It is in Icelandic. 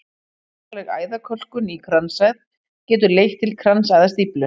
Alvarleg æðakölkun í kransæð getur leitt til kransæðastíflu.